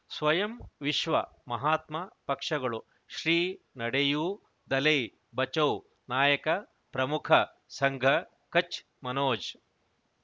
ಸ್ವಯಂ ವಿಶ್ವ ಮಹಾತ್ಮ ಪಕ್ಷಗಳು ಶ್ರೀ ನಡೆಯೂ ದಲೈ ಬಚೌ ನಾಯಕ ಪ್ರಮುಖ ಸಂಘ ಕಚ್ ಮನೋಜ್